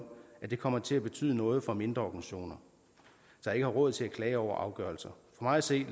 at det kommer til at betyde noget for mindre organisationer der ikke har råd til at klage over afgørelser for mig at se